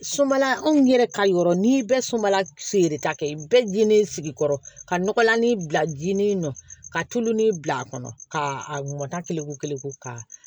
Sunbala anw yɛrɛ ka yɔrɔ n'i bɛ sunbala feereta kɛ i bɛɛ gende sigi kɔrɔ ka nɔgɔlani bila jinin nɔ ka tulonin bil'a kɔnɔ ka a mɔnta kelen ko kelen ko ka